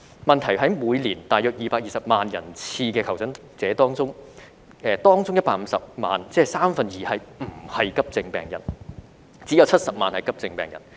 問題在於每年大約220萬人次的求診者中，當中150萬人次，即是三分之二，不是急症病人，只有70萬人次是急症病人。